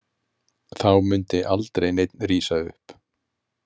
Þá mundi aldrei neinn rísa upp.